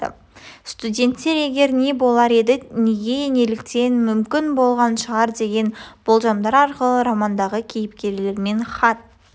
студенттер егер не болар еді неге неліктен мүмкін болған шығар деген болжамдар арқылы романдағы кейіпкерлермен хат